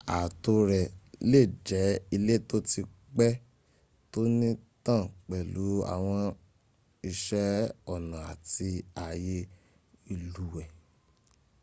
ààtò rẹ̀ lè jẹ́ ilé tó ti pẹ́ tónítàn pẹ̀lú àwọn iṣẹ́ ọnà àti ààyè ìlúùwẹ́